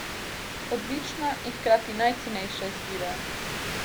Odlična in hkrati najcenejša izbira.